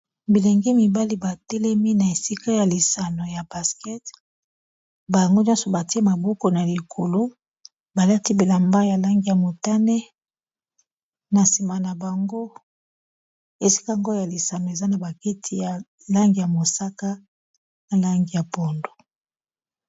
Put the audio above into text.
bilenge mibali batelemi na esika ya lisano ya basket bango nyonso batie maboko na likolo balati bilamba ya lange ya mutane na nsima na bango esika yango oyo ya lisano eza na bakiti ya langi ya mosaka na langi ya pondu